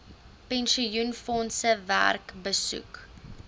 pensioenfondse werk besoek